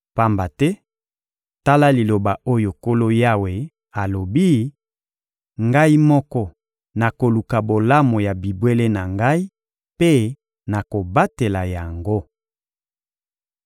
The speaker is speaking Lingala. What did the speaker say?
Pamba te, tala liloba oyo Nkolo Yawe alobi: Ngai moko nakoluka bolamu ya bibwele na Ngai mpe nakobatela yango.